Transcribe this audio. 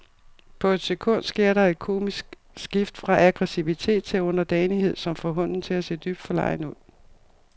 På et sekund sker der et komisk skift fra aggressivitet til underdanighed, som får hunden til at se dybt forlegen ud.